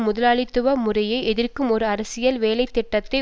முதலாளித்துவ முறையை எதிர்க்கும் ஒரு அரசியல் வேலை திட்டத்தை